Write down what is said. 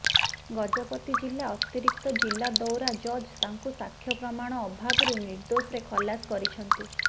ଗଜପତି ଜିଲ୍ଲା ଅତିରିକ୍ତ ଜିଲ୍ଲା ଦୌରା ଜଜ୍ ତାଙ୍କୁ ସାକ୍ଷ୍ୟ ପ୍ରମାଣ ଅଭାବରୁ ନିର୍ଦ୍ଦୋଷରେ ଖଲାସ କରିଛନ୍ତି